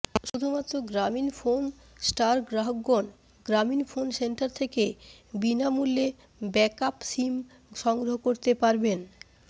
শুধুমাত্র গ্রামীণফোন স্টার গ্রাহকগণ গ্রামীণফোন সেন্টার থেকে বিনামূল্যে ব্যাকআপ সিম সংগ্রহ করতে পারবেন